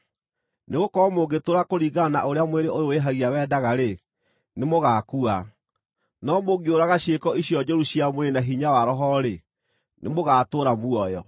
Nĩgũkorwo mũngĩtũũra kũringana na ũrĩa mwĩrĩ ũyũ wĩhagia wendaga-rĩ, nĩmũgakua, no mũngĩũraga ciĩko icio njũru cia mwĩrĩ na hinya wa Roho-rĩ, nĩmũgatũũra muoyo,